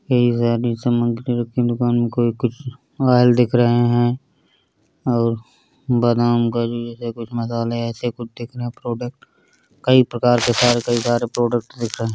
कई सारी सामग्री रखी दुकान में कोई कुछ ऑयल दिख रहे है और बादाम का जूस है कुछ मसाले ऐसे कुछ दिख रहे है प्रोडक्ट कई प्रकार के सारे के सारे प्रोडक्ट दिख रहे है।